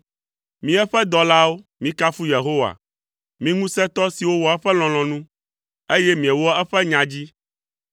Mi eƒe dɔlawo, mikafu Yehowa, mi ŋusẽtɔ siwo wɔa eƒe lɔlɔ̃nu, eye miewɔa eƒe nya dzi.